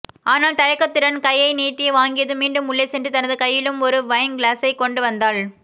ஆனால் தயக்கத்துடன் கையை நீட்டி வாங்கியதும் மீண்டும் உள்ளே சென்று தனது கையிலும் ஒரு வைன் கிளாசைகொண்டு வந்தாள்